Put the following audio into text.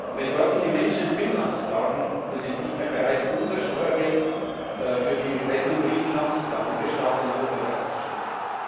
Wenn nun die Menschen in Finnland sagen Wir sind nicht mehr bereit, unser Steuergeld für die Rettung Griechenlands oder anderer Staaten in Europa bereitzustellen?